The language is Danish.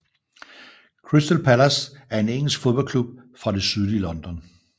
Crystal Palace er en engelsk fodboldklub fra det sydlige London